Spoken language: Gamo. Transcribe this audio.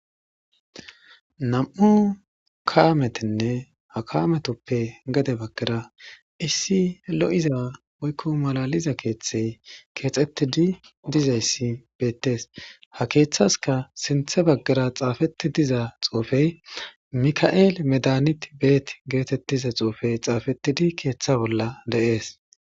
Nam'u kaametinne ha kaametuppe gede bagara issi lo'iza woyko malaliza keethey kexetidi dizaysi betesi, ha keethasaka sinthe bagara xaafetid diza xuufey meka'eli medihant betiza xuufey xaafetidi keetha bolla de'es.